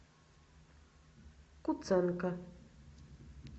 куценко